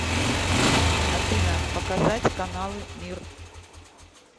афина показать каналы мир